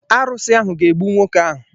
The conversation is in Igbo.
Arusi ahụ ga-egbu nwoke ahu.